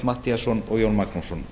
matthíasson og jón magnússon